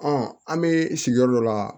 an bɛ sigiyɔrɔ dɔ la